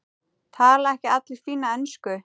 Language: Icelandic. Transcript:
Tala ekki allir fína ensku?